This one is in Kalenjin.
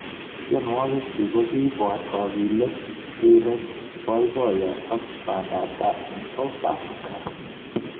Tyenwogik chiik kokiipor kakilet, rireek, poipoyo ak pandaptai eng South Africa